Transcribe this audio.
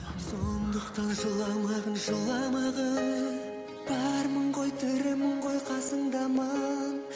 сондықтан жыламағың жыламағың бармын ғой тірімін ғой қасыңдамын